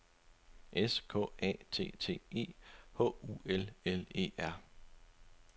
S K A T T E H U L L E R